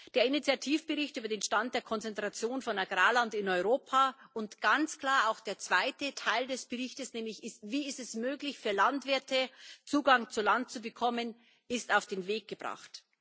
Der Initiativbericht über den Stand der Konzentration von Agrarland in Europa und ganz klar auch der zweite Teil des Berichtes nämlich, wie es möglich, ist für Landwirte Zugang zu Land zu bekommen ist auf den Weg gebracht.